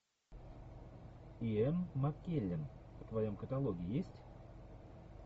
иэн маккеллен в твоем каталоге есть